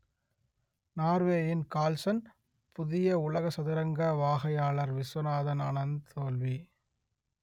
நோர்வேயின் Carlsen புதிய உலக சதுரங்க வாகையாளர் விசுவநாதன் ஆனந்த் தோல்வி